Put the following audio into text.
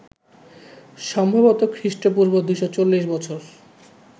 সম্ভবত খ্রীষ্ট্পূর্ব ২৪০ বছর